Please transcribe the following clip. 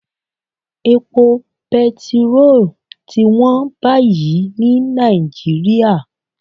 Epo petiró ti wọ́n báyìí ní Nàìjíríà